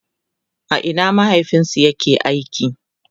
a Ina mahaifinsu ya ke aiki?